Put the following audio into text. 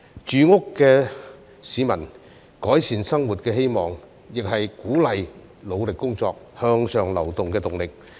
住屋是市民改善生活的希望，亦是鼓勵努力工作、向上流動的動力。